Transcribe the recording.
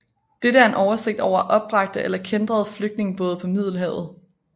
Dette er en oversigt over opbragte eller kæntrede flygtningebåde på Middelhavet